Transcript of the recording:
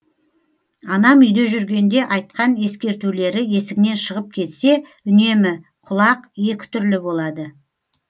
анам үйде жүргенде айтқан ескертулері есіңнен шығып кетсе үнемі құлақ екі түрлі болады